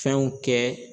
Fɛnw kɛ